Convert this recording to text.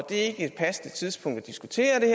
er et passende tidspunkt at diskutere det